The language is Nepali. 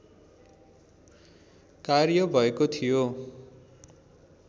कार्य भएको थियो